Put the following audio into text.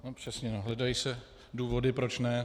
No přesně, hledají se důvody proč ne.